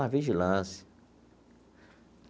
Na vigilância.